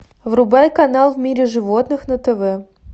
врубай канал в мире животных на тв